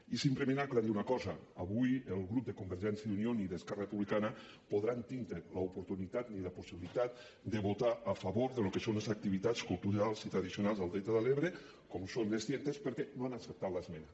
i simplement aclarir una cosa avui ni el grup de convergència i unió ni esquerra republicana podran tindre l’oportunitat ni la possibilitat de votar a favor del que són les activitats culturals i tradicionals del delta de l’ebre com ho són les tientes perquè no han acceptat l’esmena